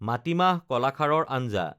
মাটিমাহ কলাখাৰৰ আঞ্জা